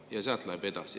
" Ja sealt läheb edasi.